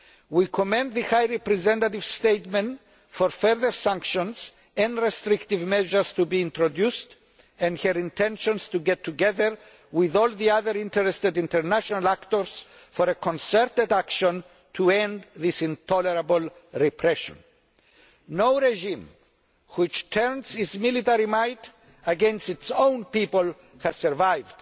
We commend the High Representative's statement for further sanctions and restrictive measures to be introduced and her intentions to get together with all the other international actors concerned for concerted action to end this intolerable repression. No regime which turns its military might against its own people has survived,